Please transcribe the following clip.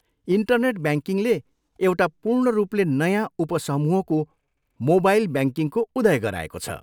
Internet ब्याङ्किङले एउटा पूर्ण रूपले नयाँ उप समूहको मोबाइल ब्याङ्किङको उदय गराएको छ।